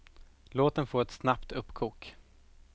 Låt den få ett snabbt uppkok.